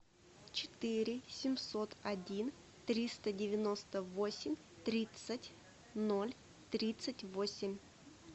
четыре семьсот один триста девяносто восемь тридцать ноль тридцать восемь